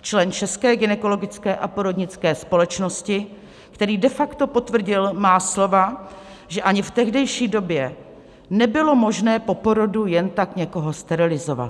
člen České gynekologické a porodnické společnosti, který de facto potvrdil má slova, že ani v tehdejší době nebylo možné po porodu jen tak někoho sterilizovat.